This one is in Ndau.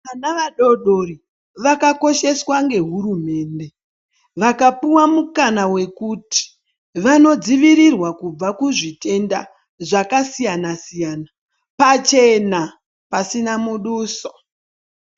Vana vadodori vakakosheswa nehurumende, vakapiea mukana wekuti, vanodzivirirwa kubva kuzvitenda zvakasiyana-siyana, pachena pasina muduso.